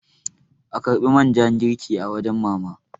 a karbi man ja girki a wajen mama!